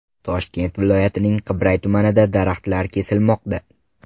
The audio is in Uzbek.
Toshkent viloyatining Qibray tumanida daraxtlar kesilmoqda.